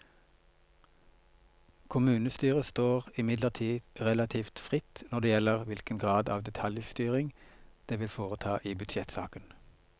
Kommunestyret står imidlertid relativt fritt når det gjelder hvilken grad av detaljstyring det vil foreta i budsjettsaken.